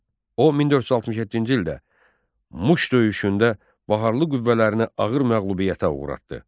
O 1467-ci ildə Muş döyüşündə Baharlı qüvvələrinə ağır məğlubiyyətə uğratdı.